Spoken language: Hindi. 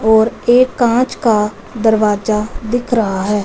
और एक कांच का दरवाजा दिख रहा है।